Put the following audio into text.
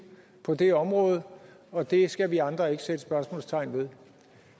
på det område og det skal vi andre ikke sætte spørgsmålstegn ved